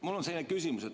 Mul on selline küsimus.